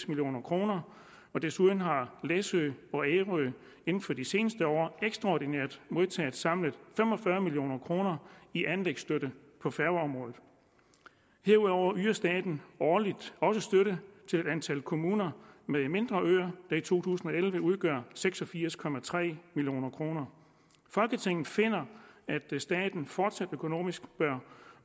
million kroner desuden har læsø og ærø inden for de seneste år ekstraordinært modtaget samlet fem og fyrre million kroner i anlægsstøtte på færgeområdet herudover yder staten årligt også støtte til et antal kommuner med mindre øer der i to tusind og elleve udgør seks og firs million kroner folketinget finder at staten fortsat økonomisk bør